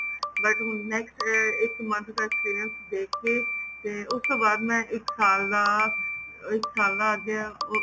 but ਹੁਣ next ਇੱਕ month ਦਾ experience ਦੇਖ ਕੇ ਤੇ ਉਸ ਤੋਂ ਬਾਅਦ ਮੈਂ ਇੱਕ ਸਾਲ ਦਾ ਇੱਕ ਸਾਲ ਦਾ ਅੱਗੇ ਉਹ